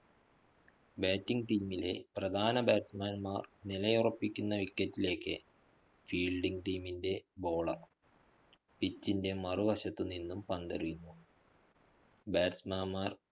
Batting team ലെ പ്രധാന Batsman മാര്‍ നിലയുറപ്പിക്കുന്ന wicket ലേക്ക് fielding team ൻറെ bowlerpitch ന്റെ മറുവശത്തു നിന്നും പന്തെറിയുന്നു. Batsman മാര്‍